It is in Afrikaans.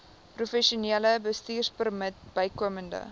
professionele bestuurpermit bykomend